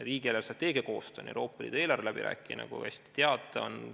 Riigi eelarvestrateegia koostamine, Euroopa Liidu eelarve läbirääkimine, nagu te hästi teate, on ...